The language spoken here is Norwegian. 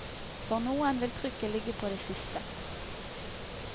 For noen vil trykket ligge på det siste.